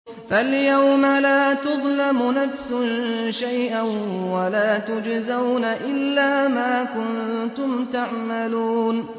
فَالْيَوْمَ لَا تُظْلَمُ نَفْسٌ شَيْئًا وَلَا تُجْزَوْنَ إِلَّا مَا كُنتُمْ تَعْمَلُونَ